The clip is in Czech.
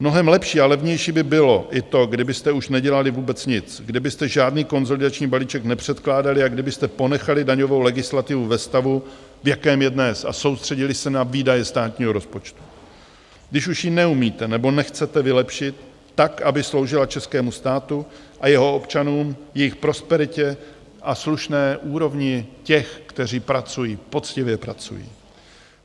Mnohem lepší a levnější by bylo i to, kdybyste už nedělali vůbec nic, kdybyste žádný konsolidační balíček nepředkládali a kdybyste ponechali daňovou legislativu ve stavu, v jakém je dnes, a soustředili se na výdaje státního rozpočtu, když už ji neumíte nebo nechcete vylepšit tak, aby sloužila českému státu a jeho občanům, jejich prosperitě a slušné úrovni těch, kteří pracují, poctivě pracují.